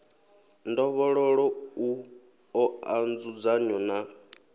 ndovhololo u oa nzudzanyo na